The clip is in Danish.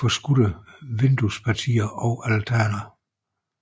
forskudte vinduespartier og altaner